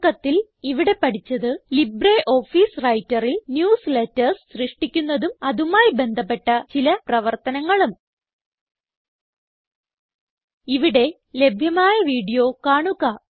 ചുരുക്കത്തിൽ ഇവിടെ പഠിച്ചത് ലിബ്രിയോഫീസ് Writerൽ ന്യൂസ്ലേറ്റർസ് സൃഷ്ടിക്കുന്നതും അതുമായി ബന്ധപ്പെട്ട ചില പ്രവർത്തനങ്ങളും ഇവിടെ ലഭ്യമായ വീഡിയോ കാണുക